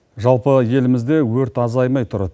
жалпы елімізде өрт азаймай тұр